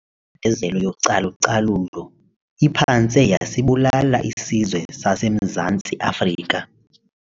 Imbandezelo yocalu-calulo iphantse yasibulala isizwe saseMzantsi Afrika.